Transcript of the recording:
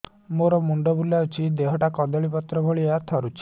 ମୋର ମୁଣ୍ଡ ବୁଲାଉଛି ଏବଂ ଦେହଟା କଦଳୀପତ୍ର ଭଳିଆ ଥରୁଛି